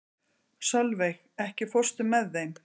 Solveig, ekki fórstu með þeim?